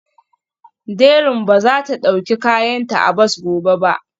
Dẹrín ba za ta ɗauki kayanta a bas gobe ba